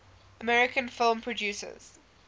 american film producers